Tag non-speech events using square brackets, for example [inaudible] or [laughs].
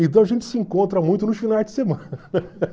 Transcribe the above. Então a gente se encontra muito nos finais de semana. [laughs]